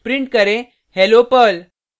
print करें hello perl